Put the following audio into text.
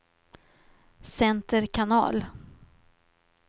center kanal